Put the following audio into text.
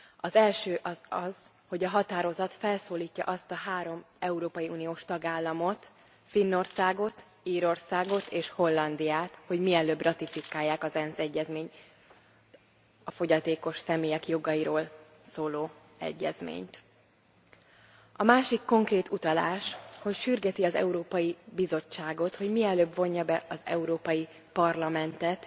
Az első az, hogy a határozat felszólítja a három európai uniós tagállamot, Finnországot, Írországot és Hollandiát, hogy mielőbb ratifikálják az ENSZ egyezményt, a fogyatékos személyek jogairól szóló egyezményt. A másik konkrét utalás, hogy sürgeti az Európai Bizottságot, hogy mielőbb vonja be az Európai Parlamentet